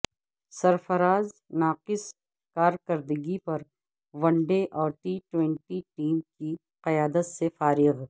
سرفراز ناقص کارکردگی پر ون ڈے اور ٹی ٹوئںٹی ٹیم کی قیادت سے فارغ